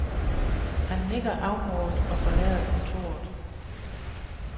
Han nikker afmålt og forlader kontoret.